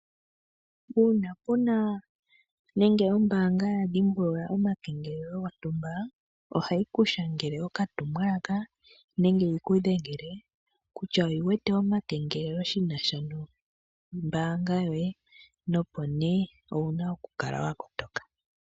Uuna kuna nenge ombanga ya dhimbulula omakengelelo gwontumba ohahiku shangele oka tumwalaka nenge yi kudhengele kutya oyi wete oma kengelelo kombanga yoye nopo ne owuna oku kala wa kotoka